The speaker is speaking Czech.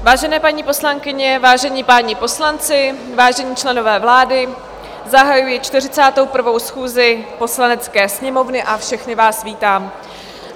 Vážené paní poslankyně, vážení páni poslanci, vážení členové vlády, zahajuji 41. schůzi Poslanecké sněmovny a všechny vás vítám.